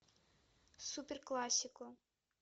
суперкласико